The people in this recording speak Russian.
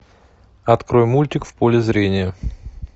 открой мультик в поле зрения